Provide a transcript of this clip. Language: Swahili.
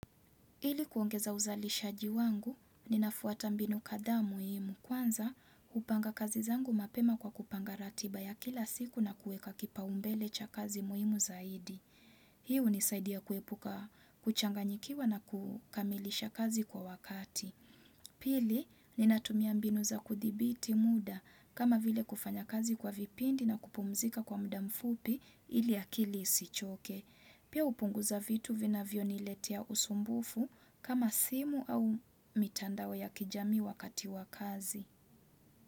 Hili kuongeza uzalishaji wangu, ninafuata mbinu kadhaa muhimu. Kwanza, hupanga kazi zangu mapema kwa kupanga ratiba ya kila siku na kuweka kipaumbele cha kazi muhimu zaidi. Hii hunisaidia kuepuka kuchanganyikiwa na kukamilisha kazi kwa wakati. Pili ninatumia mbinu za kuthibiti muda kama vile kufanya kazi kwa vipindi na kupumzika kwa muda mfupi ili akili isichoke. Pia hupunguza vitu vinavyoniletea usumbufu kama simu au mitandao ya kijamii wakati wa kazi.